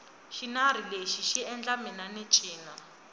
xinari lexi xi endla mina ni cina